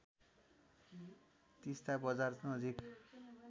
तिस्‍ता बजार नजिक